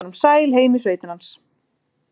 Fylgdi honum sæl heim í sveitina hans.